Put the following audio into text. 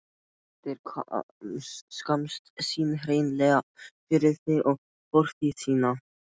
Þeir skammast sín hreinlega fyrir þig og fortíð þína.